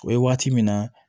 O ye waati min na